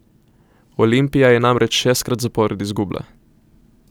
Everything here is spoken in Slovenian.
Olimpija je namreč šestkrat zapored izgubila.